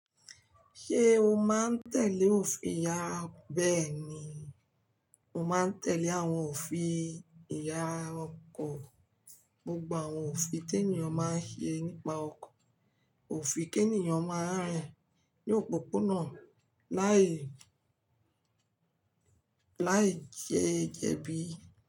Ṣé o máa ń tẹ̀lé òfin ìyara? Bẹ́ẹ̀ni, mo máa ń tẹ̀lé àwọn òfin ìyara ọkọ̀, gbogbo àwọn òfin tí ènìyàn máa ń ṣe nípa ọkọ̀, òfin kí ènìyàn máa rìn ní òpópónà láì láì jẹ́ jẹbí.